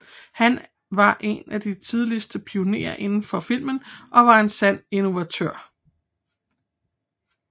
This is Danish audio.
Han var en af de tidligste pionerer inden for filmen og var en sand innovator